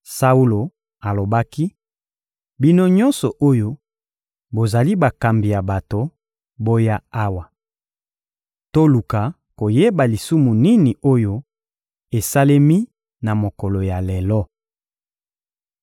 Saulo alobaki: — Bino nyonso oyo bozali bakambi ya bato, boya awa! Toluka koyeba lisumu nini oyo esalemi na mokolo ya lelo.